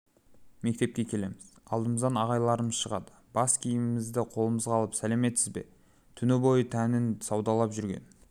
мектепке келеміз алдымыздан ағайларымыз шығады бас киімімізді қолымызға алып сәлеметсіз бе түні бойы тәнін саудалап жүрген